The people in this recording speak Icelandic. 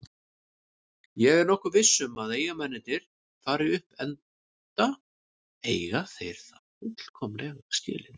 Ég er nokkuð viss um að Eyjamennirnir fari upp enda eiga þeir það fullkomlega skilið.